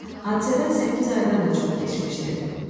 Hadisədən səkkiz aydan da çox keçmişdi.